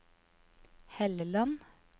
Helleland